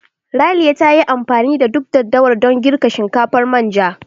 Raliya ta yi amfani da duk daddawar dan girka shinkafar manja.